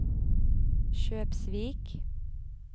Kjøpsvik